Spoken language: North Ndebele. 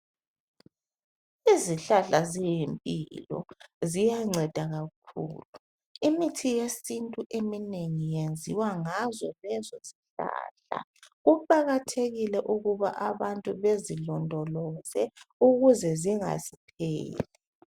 Izihlahla ziyimpilo, ziyanceda kakhulu. Imithi yesintu eminengi yenziwa ngazo lezo zihlahla. Kuqakathekile ukuba abantu bezilondoloze ukuze zingapheli.